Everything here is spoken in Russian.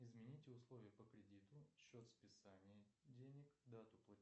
измените условия по кредиту счет списания денег дату